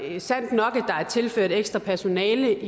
er sandt nok at der er tilført ekstra personale